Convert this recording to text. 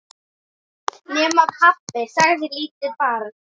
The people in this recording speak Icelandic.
Nema, pabbi, sagði lítið barn.